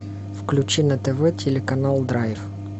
включи на тв телеканал драйв